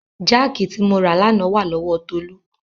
Jáàkì tí mo rà lánàá wà lọ́wọ Tolú.